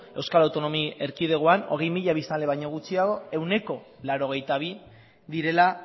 euskal autonomi erkidegoan hogei mila biztanle baino gutxiago ehuneko laurogeita bi direla